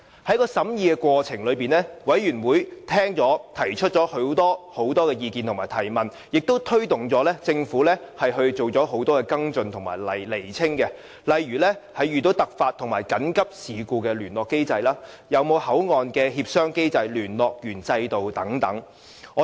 在審議《條例草案》的過程中，委員聽取及提出很多意見和問題，亦推動政府進行很多跟進及釐清的工作，例如在遇上突發和緊急事故時的聯絡機制，會否有口岸協商機制和聯絡員制度等。